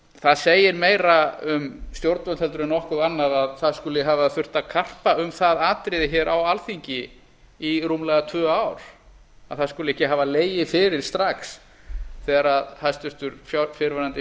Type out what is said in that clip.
það segir meira um stjórnvöld heldur en nokkuð annað að það skuli hafa þurft að karpa um það atriði hér á alþingi í rúmlega tvö ár að það skuli ekki hafa legið fyrir strax þegar hæstvirtur fyrrverandi